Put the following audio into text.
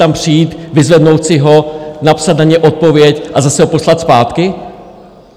Tam přijít, vyzvednout si ho, napsat na něj odpověď a zase ho poslat zpátky?